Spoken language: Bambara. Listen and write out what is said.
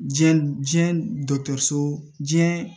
Diɲɛ diɲɛ dɔgɔtɔrɔso diɲɛ